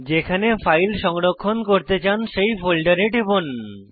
যেখানে ফাইল সংরক্ষণ করতে চান সেই ফোল্ডারে টিপুন